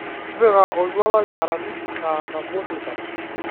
tipika oltuala learamisi saa nabo teipa